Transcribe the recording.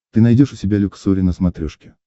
ты найдешь у себя люксори на смотрешке